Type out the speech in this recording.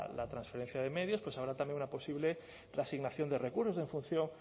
la transferencia de medios pues habrá también una posible reasignación de recursos en función